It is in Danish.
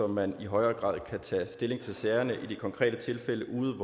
man i højere grad kan tage stilling til sagerne i de konkrete tilfælde ude